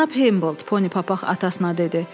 Cənab Hamboldt, Ponipapaq atasına dedi.